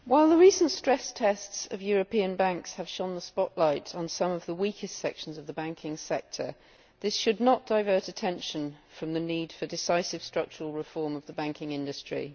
Mr President, while the recent stress tests of European banks have shone the spotlight on some of the weakest sections of the banking sector, this should not divert attention from the need for decisive structural reform of the banking industry.